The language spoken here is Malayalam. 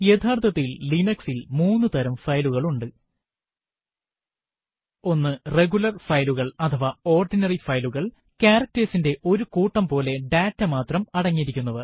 യഥാര്ത്ഥത്തിൽ Linux ൽ മൂന്നു തരം ഫയലുകൾ ഉണ്ട് 1 റെഗുലർ ഫയലുകൾ അഥവാ ഓർഡിനറി ഫയലുകൾ160 characters ന്റെ ഒരു കൂട്ടം പോലെ ഡാറ്റ മാത്രം അടങ്ങിയിരിക്കുന്നവ